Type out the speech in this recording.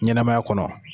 Ɲɛnɛmaya kɔnɔ